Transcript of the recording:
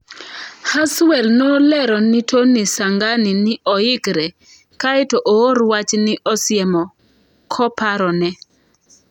Haswell nolero ni Tony Sanghani ni oyikre, kae to oor wach ni Osiemo koparone.